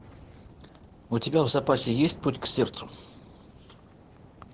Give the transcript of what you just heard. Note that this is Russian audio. у тебя в запасе есть путь к сердцу